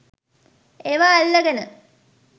ඒවා අල්ලගෙන